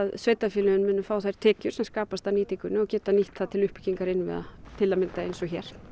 sveitarfélögin munu fá þær tekjur sem skapast af nýtingunni og geta þá nýtt það til uppbyggingar innviða til að mynda eins og hér